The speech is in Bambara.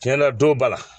Tiɲɛ na don ba la